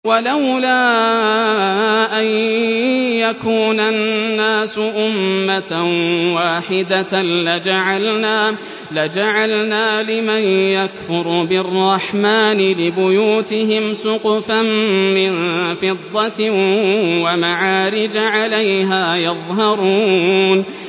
وَلَوْلَا أَن يَكُونَ النَّاسُ أُمَّةً وَاحِدَةً لَّجَعَلْنَا لِمَن يَكْفُرُ بِالرَّحْمَٰنِ لِبُيُوتِهِمْ سُقُفًا مِّن فِضَّةٍ وَمَعَارِجَ عَلَيْهَا يَظْهَرُونَ